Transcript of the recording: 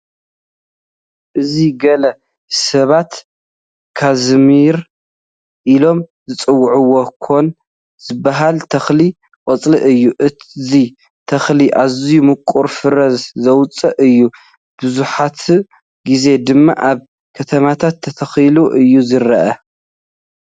እዚ ገለ ሰባት ካዝሚር ኢሎም ዝፅውዕዎ ኮኽ ዝበሃል ተኽሊ ቆፅሊ እዩ፡፡ እዚ ተኽሊ ኣዝዩ ምቑር ፍረ ዘውፅእ እዩ፡፡ መብዛሕትኡ ግዜ ድማ ኣብ ከተማታት ተተኺሉ እዩ ዝርአ፡፡